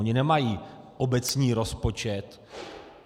Oni nemají obecní rozpočet.